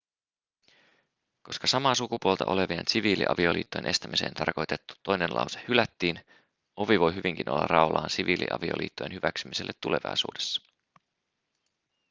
koska samaa sukupuolta olevien siviiliavioliittojen estämiseen tarkoitettu toinen lause hylättiin ovi voi hyvinkin olla raollaan siviiliavioliittojen hyväksymiselle tulevaisuudessa